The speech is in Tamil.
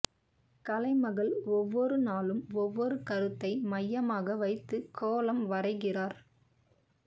கலைமகள் ஒவ்வொரு நாளும் ஒவ்வொரு கருத்தை மையமாக வைத்துக் கோலம் வரைகிறார்